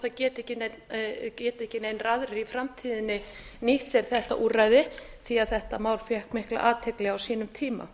það geti ekki neinir aðrir í framtíðinni nýtt sér þetta úrræði því þetta mál fékk mikla athygli á sínum tíma